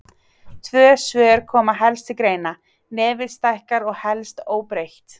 Tvö svör koma helst til greina: Nefið stækkar eða helst óbreytt.